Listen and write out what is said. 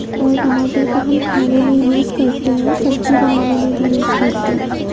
और टमाटर का हम खाने में यूज़ करते हैं। सब्जी बनाने में भी यूज़ करते हैं।